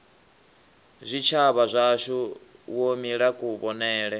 zwitshavha zwashu wo mila kuvhonele